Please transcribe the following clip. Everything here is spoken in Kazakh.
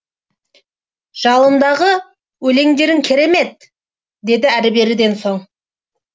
жалындағы өлеңдерің керемет деді әрі беріден соң